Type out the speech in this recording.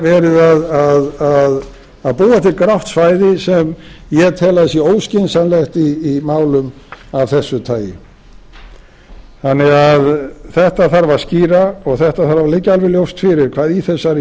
verið að búa til grátt svæði sem ég tel að sé óskynsamlegt í málum af þessu tagi þannig að þetta þarf að skýra og þetta þarf að liggja alveg ljóst fyrir hvað í þessari